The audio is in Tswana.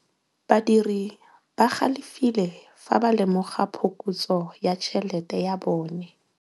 Badiri ba galefile fa ba lemoga phokotsô ya tšhelête ya bone.